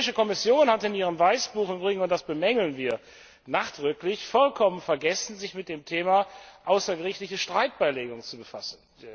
Die Europäische Kommission hat in ihrem Weißbuch und das bemängeln wir nachdrücklich vollkommen vergessen, sich mit dem Thema außergerichtliche Streitbeilegung zu befassen.